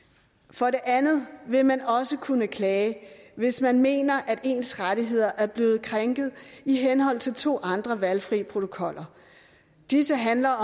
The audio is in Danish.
for det andet vil man også kunne klage hvis man mener at ens rettigheder er blevet krænket i henhold til to andre valgfri protokoller disse handler